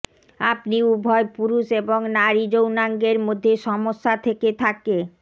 আপনি উভয় পুরুষ এবং নারী যৌনাঙ্গের মধ্যে সমস্যা থেকে থাকে